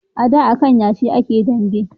A da a kan yashi a ke dambe